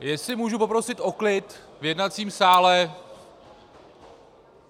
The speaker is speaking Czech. Jestli mohu poprosil o klid v jednacím sále!